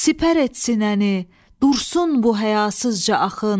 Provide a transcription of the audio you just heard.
Sipər et sinəni, dursun bu həyasızca axın.